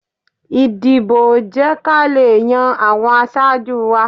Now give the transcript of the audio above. Ìdìbò jẹ́ ká lè yan àwọn aṣáájú wa